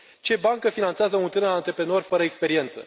Ce bancă finanțează un tânăr antreprenor fără experiență?